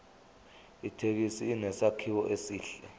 ithekisi inesakhiwo esihle